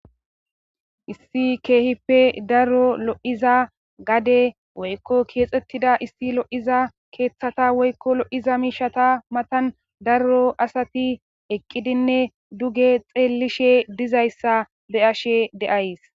Issi keehippe lo7iza daro woykko keexettiza issi lo7iza woykko lo7iza miishata matan darro asati eqqidinne duge xeellishe dizayssa be7ashe de7ays.